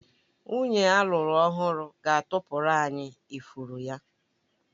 Nwunye alụru ọhụrụ ga-atụpụrụ anyị ifuru ya